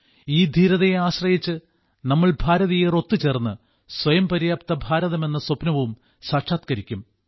ഈ ധീരതയെ ആശ്രയിച്ച് നമ്മൾ ഭാരതീയർ ഒത്തുചേർന്ന് സ്വയംപര്യാപ്ത ഭാരതമെന്ന സ്വപ്നവും സാക്ഷാത്കരിക്കും